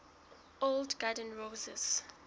old garden roses